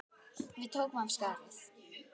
Við tókum af skarið.